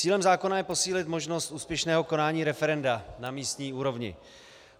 Cílem zákona je posílit možnost úspěšného konání referenda na místní úrovni.